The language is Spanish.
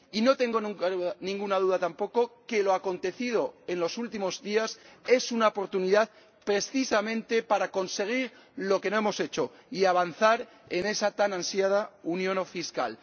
Y no tengo ninguna duda tampoco de que lo acontecido en los últimos días es una oportunidad, precisamente, para conseguir lo que no hemos hecho y avanzar en esa tan ansiada unión fiscal.